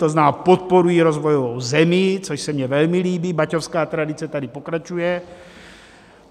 To znamená, podporují rozvojovou zemi, což se mně velmi líbí, baťovská tradice tady pokračuje.